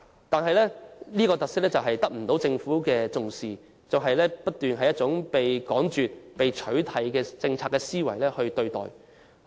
但是，這種特色卻得不到政府重視，而以趕絕或取締的政策思維對待。